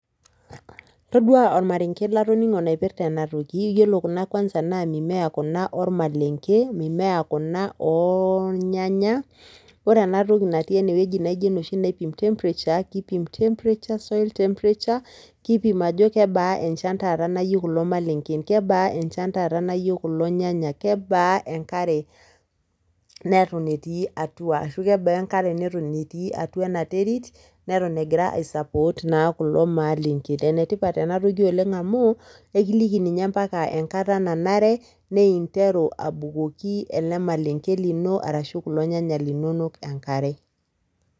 Todua ormarenge latoningo oipirta enatoki, iyiolo kuna kwanza naa mimea kuna ormalenge, mimea kuna oooh ornyanya. Wore enatoki natii eneweji naijo enoshi naipim temperature, kipim temperature, soil temperature, kipim ajo kebaa enchan taat nayeu kulo malengen, kebaa enchan taata nayeu kulo nyanya, kebaa enkare neton etii atua, ashu kebaa enkare neton etii atua enaterit neton egira aii support naa kulo maalengen. Enetipat oleng enatoki amu ekiliki ninye ampaka enkata nanare ninteru abukoki ele malenge lino ashu kulo nyanya linonok enkare.